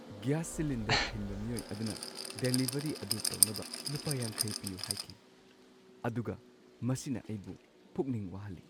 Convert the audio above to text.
Gas cylinder ꯊꯤꯟꯕ ꯃꯤꯑꯣꯏ ꯑꯗꯨꯅ ꯗꯦꯂꯤꯚꯔꯤ ꯑꯗꯨ ꯇꯧꯅꯕ ꯂꯨꯄꯥ ꯵꯰ ꯄꯤꯌꯨ ꯍꯥꯏꯈꯤ ꯑꯗꯨꯒ ꯃꯁꯤꯅ ꯑꯩꯕꯨ ꯄꯨꯛꯅꯤꯡ ꯋꯥꯍꯜꯂꯤ꯫